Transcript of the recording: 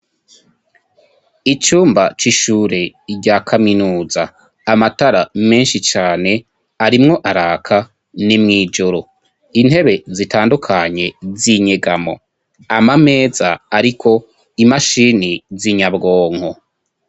Icumba cishure rya kaminuza, amatara menshi cane arimwo araka ,ni mwijoro, intebe zitandukanye zinyegamo, ama meza ariko imashini z'inyabwonko.